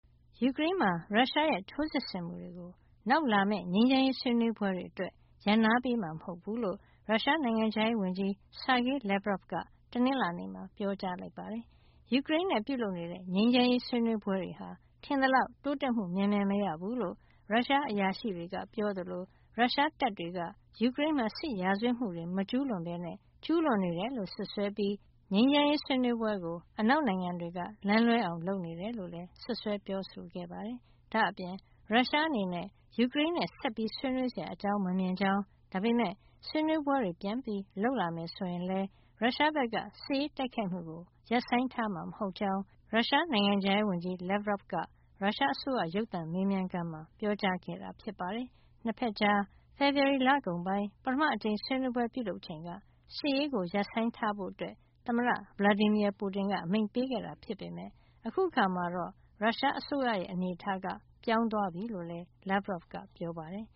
ယူကရိန်းမှာ ရုရှားရဲ့ စစ်ရေးထိုးစစ်ဆင်မှုတွေဟာ နောက်လာမယ့် ငြိမ်းချမ်းရေးဆွေးနွေးပွဲတွေ အတွက် ရပ်နားပေးမှာ မဟုတ်ကြောင်း ရုရှားနိုင်ငံခြားရေးဝန်ကြီး Sergei Lavrov က တနင်္လာနေ့မှာ ပြောကြားလိုက်ပါတယ်။ ယူကရိန်းနဲ့ ပြုလုပ်နေတဲ့ ငြိမ်းချမ်းရေးဆွေးနွေးပွဲတွေဟာ ထင်သလောက် တိုးတက်မှု မြန်မြန်မရဘူးလို့ ရုရှားအရာရှိတွေက ပြောသလို ရုရှားတပ်တွေက ယူကရိန်းမှာ စစ်ရာဇဝတ်မှုတွေ မကျူးလွန်ဘဲ ကျူးလွန်နေတယ်လို့ စွပ်စွဲပြီး ငြိမ်းချမ်းရေး ဆွေးနွေးပွဲကို လမ်းလွဲအောင်လုပ်နေတယ်လို့လည်း စွပ်စွဲပြောဆိုခဲ့ပါတယ်။ ဒါ့အပြင် ရုရှားအနေနဲ့ ယူကရိန်းနဲ့ ဆက်ဆွေးနွေးစရာ အကြောင်းမမြင်ကြောင်း၊ ဒါပေမဲ့ ဆွေးနွေးပွဲတွေ ပြန်လုပ်လာမယ် ဆိုရင်လည်း ရုရှားဘက်က စစ်ရေးတိုက်ခိုက်မှုကို ရပ်ဆိုင်းထားမှာ မဟုတ်ကြောင်း ရုရှားနိုင်ငံခြားရေးဝန်ကြီး Lavrov က ရုရှားအစိုးရ ရုပ်သံမေးမြန်းခန်းမှာ ပြောကြားခဲ့တာ ဖြစ်ပါတယ်။ နှစ်ဘက်ကြား ဖေဖေါ်ဝါရီလကုန်ပိုင်း ပထမအကြိမ် ဆွေးနွေးပွဲပြုလုပ်ချိန်က စစ်ရေးရပ်ဆိုင်းထားဖို့ သမ္မတ Vladimir Putin က အမိန့်ပေးခဲ့တာ ဖြစ်ပေမဲ့ အခုအခါမှာတော့ ရုရှားအစိုးရရဲ့ အနေထားက ပြောင်းသွားပြီ လို့လည်း Lavrov က ပြောပါတယ်